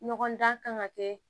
Ɲɔgɔn dan kan ka kɛ